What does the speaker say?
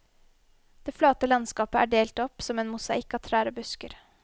Det flate landskapet er delt opp som en mosaikk av trær og busker.